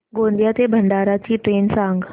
गोंदिया ते भंडारा ची ट्रेन सांग